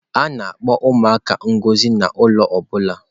A na-akpọ ụmụaka ngọzi nye ụlọ ọ bụla.